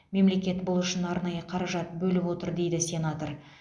мемлекет бұл үшін арнайы қаражат бөліп отыр дейді сенатор